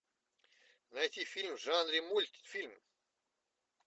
найти фильм в жанре мультфильм